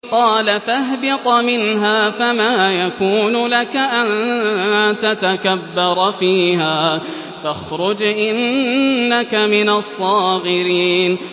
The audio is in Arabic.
قَالَ فَاهْبِطْ مِنْهَا فَمَا يَكُونُ لَكَ أَن تَتَكَبَّرَ فِيهَا فَاخْرُجْ إِنَّكَ مِنَ الصَّاغِرِينَ